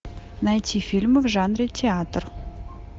найти фильмы в жанре театр